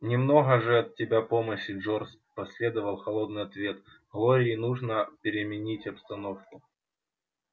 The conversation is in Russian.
немного же от тебя помощи джордж последовал холодный ответ глории нужно переменить обстановку